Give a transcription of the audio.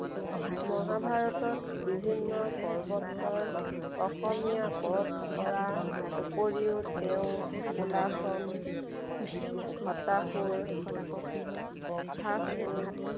মহাভাৰতত বিভিন্ন পৰ্বতৰ অসমীয়া পদ কৰাৰ উপৰিও তেওঁ কুলাশন ঘটাসুৰ বঘ্ৰাসুৰ